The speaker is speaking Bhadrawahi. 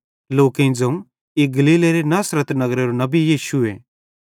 लोकेईं ज़ोवं ई गलीलेरे नगर नासरत नगरेरो नबी यीशुए